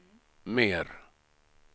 mer